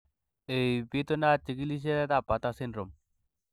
Ei, bitunat chikilisietab Bartter syndrome.